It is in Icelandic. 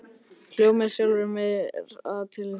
Hló með sjálfri mér að tilhugsuninni.